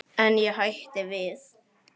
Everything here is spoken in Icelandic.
En ég hætti við.